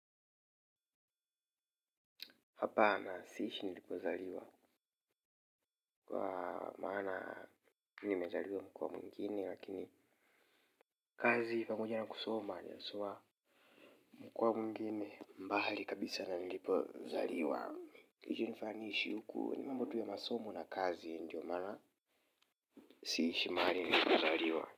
Hapana siishi nilipozaliwa. Mana mimi nimezaliwa mko mwingine lakin kazi pamoja na kusoma mkoa mwingine mbali kabisa na nilipozaliwa. Ilifanya niishi huku mambo tu ya masomo na kazi ndio mana siishi mahari nilipozaliwa.